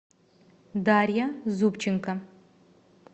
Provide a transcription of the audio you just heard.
дарья зубченко